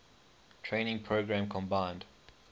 training program combined